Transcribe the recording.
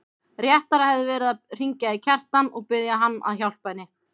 Réttara hefði verið að hringja í Kjartan og biðja hann að hjálpa henni.